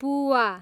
पुवा